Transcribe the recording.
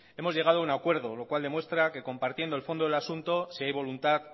hemos llegado a un acuerdo lo cual demuestra que compartiendo el fondo del asunto si hay voluntad